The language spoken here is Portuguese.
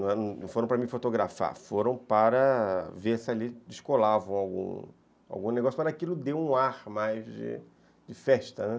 não foram para me fotografar, foram para ver se ali descolavam algum, algum negócio, mas aquilo deu um ar mais de de festa, né.